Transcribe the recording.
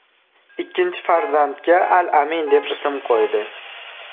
Ikkinchi farzandga al-Amin deb ism qo‘ydi.